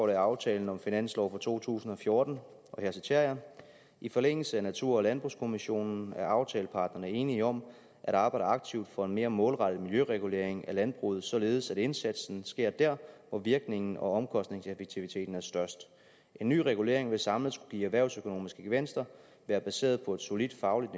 af aftalen om finansloven for to tusind og fjorten og her citerer jeg i forlængelse af natur og landbrugskommissionen er aftaleparterne enige om at arbejde aktivt for en mere målrettet miljøregulering af landbruget således at indsatsen sker dér hvor virkningen og omkostningseffektiviteten er størst en ny regulering vil samlet skulle give erhvervsøkonomiske gevinster være baseret på et solidt fagligt